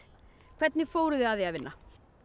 hvernig fóruð þið að því að vinna